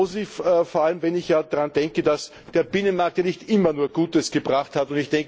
Positiv vor allem, wenn ich daran denke, dass der Binnenmarkt ja nicht immer nur Gutes gebracht hat.